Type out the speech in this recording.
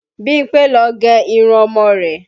Bímpé ló gé irun ọmọ rẹ̀